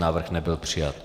Návrh nebyl přijat.